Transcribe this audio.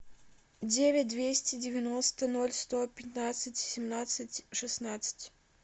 девять двести девяносто ноль сто пятнадцать семнадцать шестнадцать